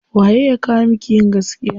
Waye ya kowa miki yin gaskiya.